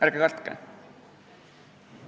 Ärge kartke!